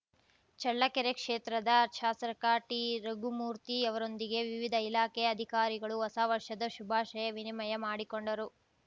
ಚಳ್ಳಕೆರೆ ಕ್ಷೇತ್ರದ ಶಾಸಕ ಟಿರಘುಮೂರ್ತಿ ಅವರೊಂದಿಗೆ ವಿವಿಧ ಇಲಾಖೆ ಅಧಿಕಾರಿಗಳು ಹೊಸವರ್ಷದ ಶುಭಾಷಯ ವಿನಿಮಯ ಮಾಡಿಕೊಂಡರು